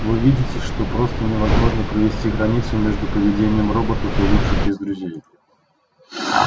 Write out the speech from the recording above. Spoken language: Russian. вы видите что просто невозможно провести границу между поведением роботов и лучших из друзей